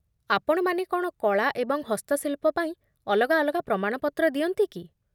ଆପଣମାନେ କ'ଣ କଳା ଏବଂ ହସ୍ତଶିଳ୍ପ ପାଇଁ ଅଲଗା ଅଲଗା ପ୍ରମାଣପତ୍ର ଦିଅନ୍ତି କି?